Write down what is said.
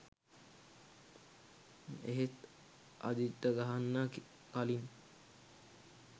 එහෙත් අජිත්ට ගහන්න කළින්